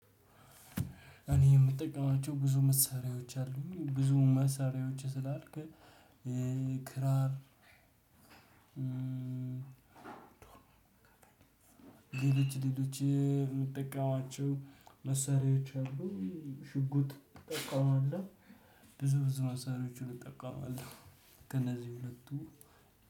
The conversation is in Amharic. እኔ የምጠቀማቸው ብዙ መሳሪያዎች አሉኝ ብዙ መሳሪያዎች ስላልክ ክራር። ሌሎች ሌሎች የምትጠቀማቸው መሳሪያዎች አሉ። ሽጉጥ እጠቀማለሁ። ብዙ መሳሪያዎቹን እጠቀማለሁ። ከነዚህ ሁለቱ